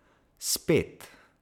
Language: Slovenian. Spet!